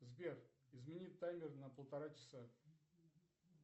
сбер измени таймер на полтора часа